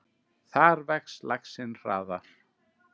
Þar vex laxinn hraðar.